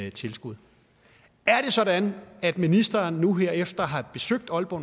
et tilskud er det sådan at ministeren nu her efter at have besøgt aalborg